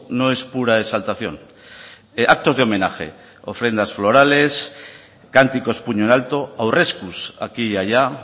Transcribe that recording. no es pura exaltación actos de homenaje ofrendas florales canticos puño en alto aurreskus aquí y allá